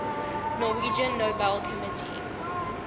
norwegian nobel committee